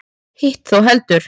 Hitt þó heldur.